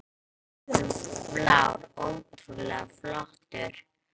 Hann var rauður og blár og ótrúlega flottur.